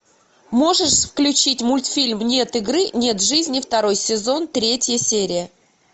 можешь включить мультфильм нет игры нет жизни второй сезон третья серия